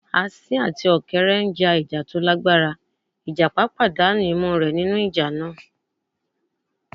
Asín àti Ọ̀kẹ́rẹ́ n já ìjà tó lágbára, ìjàpá pàdánà imú rẹ̀ nínú ìjà náà